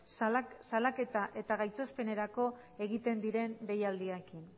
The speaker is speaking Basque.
salaketa eta gaitzespenerako egiten diren deialdiekin